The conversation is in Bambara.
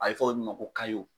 A ye fɔ min ma ko